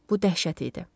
Bu dəhşət idi.